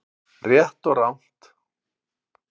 RÉTT OG RANGT